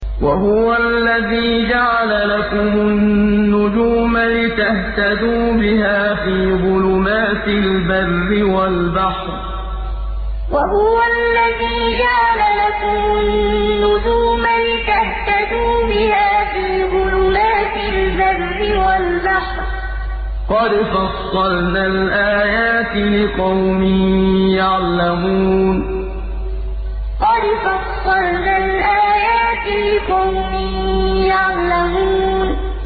وَهُوَ الَّذِي جَعَلَ لَكُمُ النُّجُومَ لِتَهْتَدُوا بِهَا فِي ظُلُمَاتِ الْبَرِّ وَالْبَحْرِ ۗ قَدْ فَصَّلْنَا الْآيَاتِ لِقَوْمٍ يَعْلَمُونَ وَهُوَ الَّذِي جَعَلَ لَكُمُ النُّجُومَ لِتَهْتَدُوا بِهَا فِي ظُلُمَاتِ الْبَرِّ وَالْبَحْرِ ۗ قَدْ فَصَّلْنَا الْآيَاتِ لِقَوْمٍ يَعْلَمُونَ